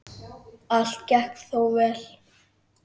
Allt gekk þó vel.